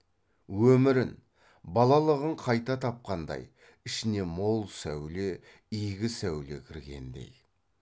өмірін балалығын қайта тапқандай ішіне мол сәуле игі сәуле кіргендей